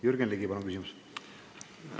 Jürgen Ligi, palun küsimus!